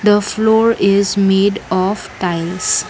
the floor is made of tiles.